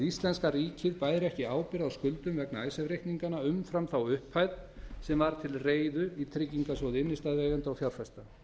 íslenska ríkið bæri ekki ábyrgð á skuldum vegna icesave reikninganna umfram þá upphæð sem var til reiðu í trygginga sjóði innstæðueigenda og fjárfesta